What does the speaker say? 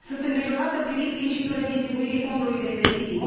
Sunt îngrijorată privind principiul redistribuirii Fondului de investiții.